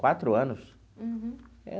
Quatro anos? Uhum.